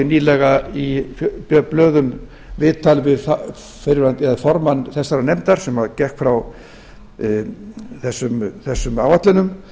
nýlega í blöðum viðtal við formann þessarar nefndar sem gekk frá þessum áætlunum